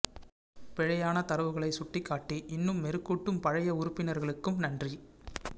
பிழையான தரவுகளை சுட்டி காட்டி இன்னும் மெருகூட்டும் பழைய உறுப்பினர்களுக்கும் நன்றி